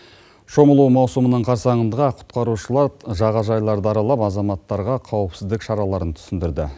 шомылу маусымының қарсаңында құтқарушылар жағажайларды аралап азаматтарға қауіпсіздік шараларын түсіндірді